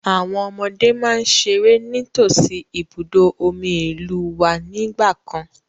Àwọn ọmọdé máa ń ṣeré ní tòsí ibùdó omi ìlúu wá ní ìgbàkan.